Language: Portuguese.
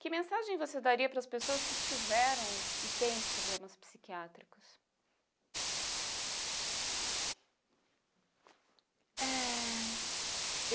Que mensagem você daria para as pessoas que tiveram e têm problemas psiquiátricos? Eh...